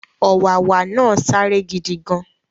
Ọ̀wàwà náà sáré gidigan